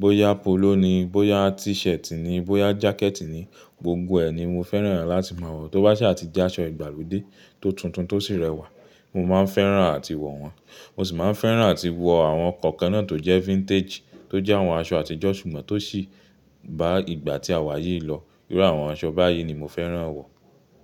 bóyá polo ni, bóyá t-shirt ni, bóyá jacket ni, gbogbo ẹ̀ ni mo fẹ́ràn láti máa wọ̀. Tó bá ṣa a ti jẹ́ aṣọ ìgbàlódé tó tuntun tó sì rẹwà, mo máa fẹ́ràn àti wọ̀ wọ́n. Mo sì máa fẹ́ràn àti wọ àwọn kọ̀kan náà tó jẹ́ vintage, tó jẹ́ àwọn aṣọ àtijọ́ ṣùgbọ́n tó sì bá ìgbà tí àwa yìí lọ. Irú àwọn aṣọ báyìí ni mo fẹ́ràn wọ̀